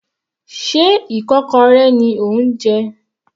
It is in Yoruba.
Sé ikokorẹ ni ò ń jẹ?